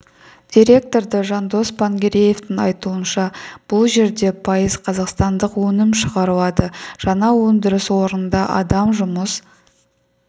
директоры жандос пангереевтің айтуынша бұл жерде пайыз қазақстандық өнім шығарылады жаңа өндіріс орнында адам жұмыс